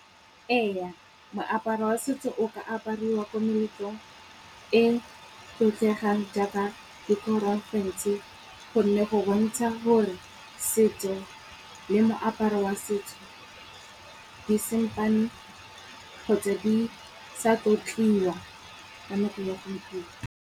Eya moaparo wa setso o ka apariwa ko meletlong e tlotlegang jaaka di porofense, gonne go bontsha gore setso le moaparo wa setso di sampane kgotsa di sa tlotliwa ka nako ya gompieno.